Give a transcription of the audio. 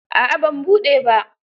A'a ban buɗe ba.